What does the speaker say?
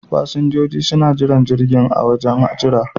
Fasinjoji suna jiran jirgin a wajen jiran.